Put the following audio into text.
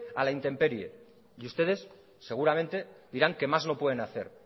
a la intemperie y ustedes seguramente dirán que más no pueden hacer